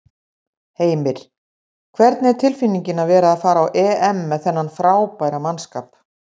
Heimir: Hvernig er tilfinningin að vera að fara á EM með þennan frábæra mannskap?